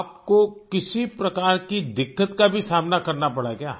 आप को किसी प्रकार की दिक्कत का भी सामना करना पड़ा है क्या